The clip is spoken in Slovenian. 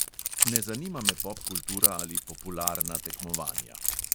Ne zanima me popkultura ali popularna tekmovanja.